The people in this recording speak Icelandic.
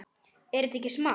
Er þetta ekki smart?